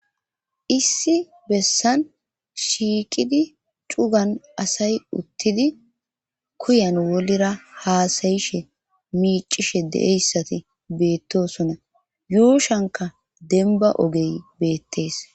issi bessan shiiqidi cugan asay uttidi kuyan wodera haasayishe miicishe de7eyssati beettosona yuushanka denba ogey beettees